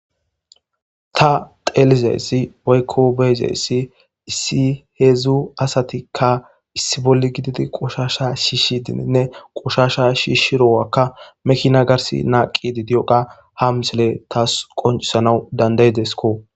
Ta xeelizayssi waykko beyzeyssi issi heedzdzu asatikka issi bolli gididi qoshasha shiishshi dininne qoshasha shiishshirowakka mekina gars naaqi di diyoqa hamsile taas qoncisana dandayidesko.